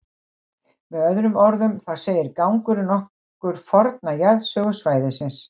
Með öðrum orðum, þá segir gangurinn okkur forna jarðsögu svæðisins.